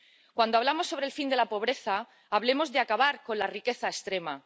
cuando hablamos sobre el fin de la pobreza, hablemos de acabar con la riqueza extrema